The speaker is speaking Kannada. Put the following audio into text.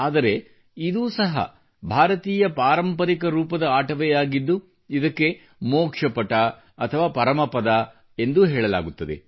ಆದರೆ ಇದು ಸಹ ಭಾರತೀಯ ಪಾರಂಪರಿಕ ರೂಪದ ಆಟವೇ ಆಗಿದ್ದು ಇದಕ್ಕೆ ಮೋಕ್ಷ ಪಟ ಅಥವಾ ಪರಮಪದ ಎಂದು ಹೇಳಲಾಗುತ್ತದೆ